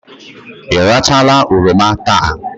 Ị rachaala oroma taa?